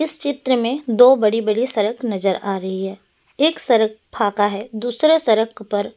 इस चित्र में दो बड़ी-बड़ी सड़क नजर आ रही है एक सड़क फाका है दूसरे सड़क पर।